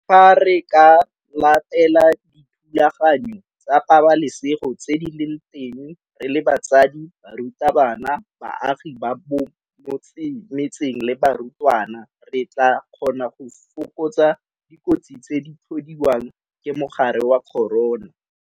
Fa re ka latela dithulaganyo tsa pabalesego tse di leng teng re le batsadi, barutabana, baagi ba mo metseng le barutwana re tla kgona go fokotsa dikotsi tse di tlhodiwang ke mogare wa corona.